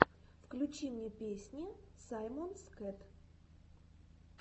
включи мне песни саймонс кэт